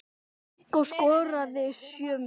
Viggó skoraði sjö mörk.